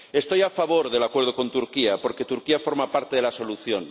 Estoy a favor del acuerdo con Turquía, porque Turquía forma parte de la solución.